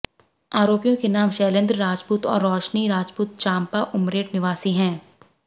आरोपियों के नाम शैलेंद्र राजपूत और रोशनी राजपूत चाम्पा उमरेड निवासी है